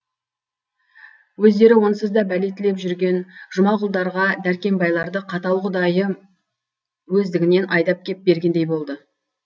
өздері онсыз да бәле тілеп жүрген жұмағұлдарға дәркембайларды қатал құдайы өздігінен айдап кеп бергендей болды